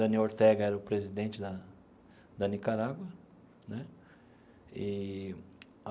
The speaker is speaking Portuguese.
Daniel Ortega era o presidente da da Nicarágua né eee.